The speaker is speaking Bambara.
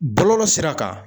Bɔlɔlɔ sira kan.